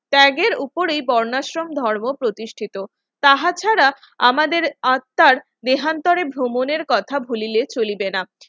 ট্যাগের উপরেই বর্ণাশ্রম ধর্ম প্রতিষ্ঠিত তাহা ছাড়া আমাদের আত্মার দেহান্তরে ভ্রমণের কথা ভুলিলে চলিবে না